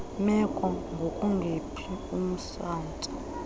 meko ngokungephi umsantsa